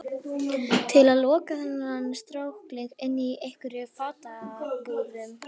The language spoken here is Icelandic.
Til að loka þennan strákling inni í einhverjum fangabúðum?